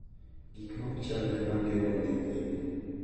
Gik ma ok chalre ma geng’o dhi nyime,